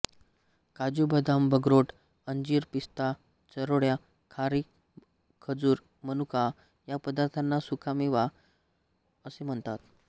काजू बदाम अक्रोड अंजीर पिस्ता चारोळ्या खारीक खजूर मनुका या पदार्थांना सुकामेवा असे म्हणतात